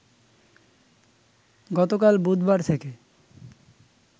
গতকাল বুধবার থেকে